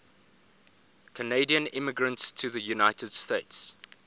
canadian immigrants to the united states